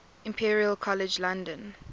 imperial college london